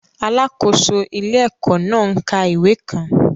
Alákòóso ilé-ẹ̀kọ́ náà ń ka ìwé kan